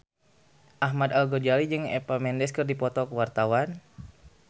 Ahmad Al-Ghazali jeung Eva Mendes keur dipoto ku wartawan